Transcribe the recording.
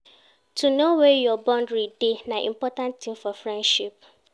To know where your boundary dey, na important tin for friendship